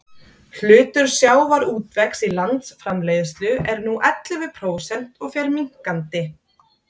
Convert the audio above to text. hlutur sjávarútvegs í landsframleiðslu er nú ellefu prósent og fer minnkandi